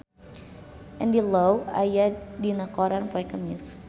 Andy Lau aya dina koran poe Kemis